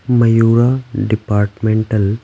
Mayura departmental --